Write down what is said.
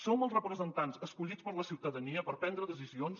som els representants escollits per la ciutadania per prendre decisions